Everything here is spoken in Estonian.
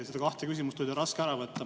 Neid kahte küsimust oli teil raske ära võtta.